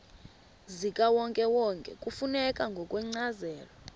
zikawonkewonke kufuneka ngokwencazelo